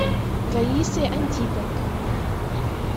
раисой антипенко